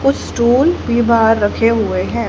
कुछ स्टूल भी बाहर रखे हुए हैं।